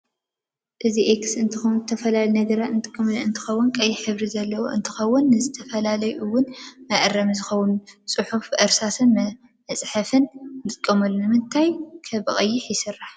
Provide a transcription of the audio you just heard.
አዚ ኤክስ እንትከውን ዝተፋላለዩ ነገራት እጥቀመሉ እንትከውን ቀይሕ ሕብሪ ዘለዎ እንትከውን ንፈተና እውን መዐረሚ ዝኮነ ፂሑፊ አረእስ መፀሕፊ ንጥቀመሉ ንምንታይ ከ ብቀይ ይስራሕ?